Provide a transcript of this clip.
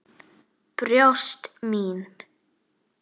Brjóst mín.